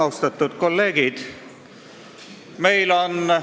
Austatud kolleegid!